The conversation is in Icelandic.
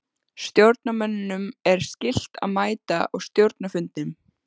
Stjórnarmönnum er skylt að mæta á stjórnarfundum.